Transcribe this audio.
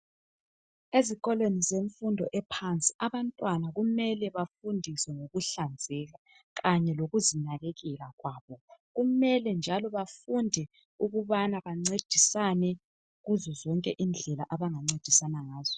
Ezikolweni zemfundo ephansi abantwana kumele bafundiswe ngokuhlanzeka kanye lokuzinakekela kwabo .Kumele njalo bafundiswe ukuthi bancedisane kuzo zonke indlela abangancedisana ngazo .